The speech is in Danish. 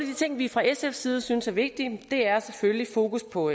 de ting vi fra sfs side synes er vigtige er selvfølgelig fokus på